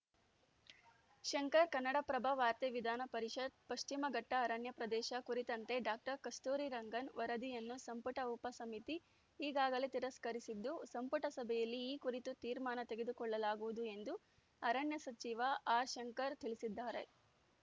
ಶಂಕರ್‌ ಕನ್ನಡಪ್ರಭ ವಾರ್ತೆ ವಿಧಾನ ಪರಿಷತ್‌ ಪಶ್ಚಿಮಘಟ್ಟಅರಣ್ಯ ಪ್ರದೇಶ ಕುರಿತಂತೆ ಡಾಕ್ಟರ್ ಕಸ್ತೂರಿರಂಗನ್‌ ವರದಿಯನ್ನು ಸಂಪುಟ ಉಪಸಮಿತಿ ಈಗಾಗಲೇ ತಿರಸ್ಕರಿಸಿದ್ದು ಸಂಪುಟ ಸಭೆಯಲ್ಲಿ ಈ ಕುರಿತು ತೀರ್ಮಾನ ತೆಗೆದುಕೊಳ್ಳಲಾಗುವುದು ಎಂದು ಅರಣ್ಯ ಸಚಿವ ಆರ್‌ ಶಂಕರ್‌ ತಿಳಿಸಿದ್ದಾರೆ